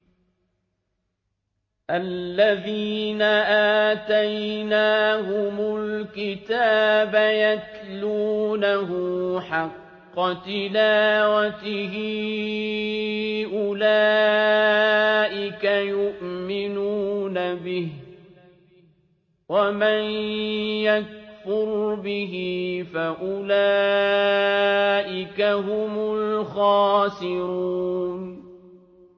الَّذِينَ آتَيْنَاهُمُ الْكِتَابَ يَتْلُونَهُ حَقَّ تِلَاوَتِهِ أُولَٰئِكَ يُؤْمِنُونَ بِهِ ۗ وَمَن يَكْفُرْ بِهِ فَأُولَٰئِكَ هُمُ الْخَاسِرُونَ